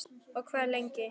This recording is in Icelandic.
Og hvað lengi?